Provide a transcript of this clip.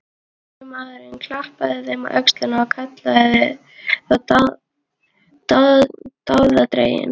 Lögreglumaðurinn klappaði þeim á öxlina og kallaði þá dáðadrengi.